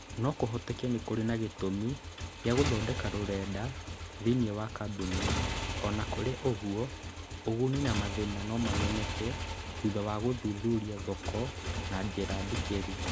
No kũhoteke nĩ kũrĩ na gĩtũmi gĩa gũthondeka rũrenda thĩinĩ wa kambuni; o na kũrĩ ũguo, ũguni na mathĩna no mamenyeke thutha wa gũthuthuria thoko na njĩra ndikĩru.